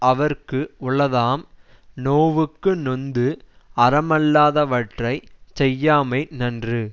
அவர்க்கு உளதாம் நோவுக்கு நொந்து அறமல்லாதவற்றைச் செய்யாமை நன்று